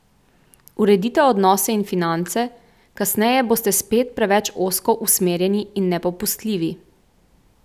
Uredite odnose in finance, kasneje boste spet preveč ozko usmerjeni in nepopustljivi.